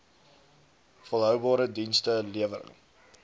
volhoubare dienste lewering